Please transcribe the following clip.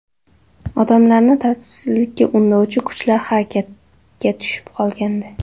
Odamlarni tartibsizlikka undovchi kuchlar harakatga tushib qolgandi.